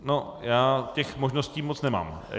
No já těch možností moc nemám.